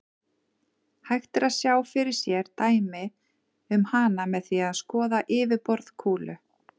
Hægt er að sjá fyrir sér dæmi um hana með því að skoða yfirborð kúlu.